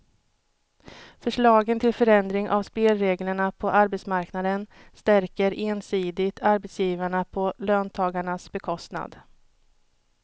Förslagen till förändring av spelreglerna på arbetsmarknaden stärker ensidigt arbetsgivarna på löntagarnas bekostnad.